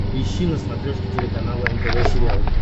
поищи на смотрешке телеканал нтв сериал